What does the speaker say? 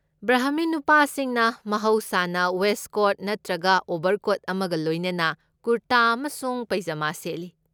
ꯕ꯭ꯔꯍꯃꯤꯟ ꯅꯨꯄꯥꯁꯤꯡꯅ ꯃꯍꯧꯁꯥꯅ ꯋꯦꯁ꯭ꯠꯀꯣꯠ ꯅꯠꯇ꯭ꯔꯒ ꯑꯣꯕꯔꯀꯣꯠ ꯑꯃꯒ ꯂꯣꯏꯅꯅ ꯀꯨꯔꯇꯥ ꯑꯃꯁꯨꯡ ꯄꯩꯖꯃꯥ ꯁꯦꯠꯂꯤ꯫